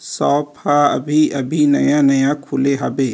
shop ह अभी-अभी नया-नया खुले हाबे--